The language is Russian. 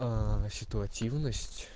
аа ситуативность